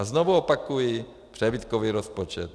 A znovu opakuji, přebytkový rozpočet.